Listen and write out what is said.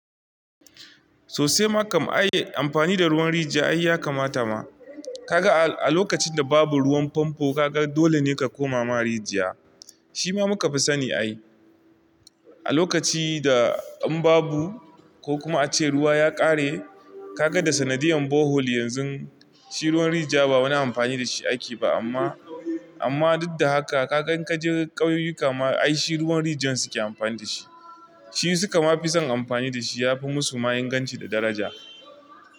Sosai ma kam ai amfani da ruwan rijiya ya kamata ma. Kaga a lokacin da babu ruwan famfo kaga dole ne ka koma ma rijiya. Shi ma muka fi sani ai. A lokaci da an babu ko kuma ace ruwa ya ƙare kaga da sanadiyan borehole yanzu shi ruwan rijiya ba wani amfani da shi ake ba amma, amma duddaha ka gan ka je ƙauyuka ma ai shi ruwan rijiyan su ke amfani da shi. Shi su ka ma fi son amfani da shi ya fi musu ma inganci da daraja.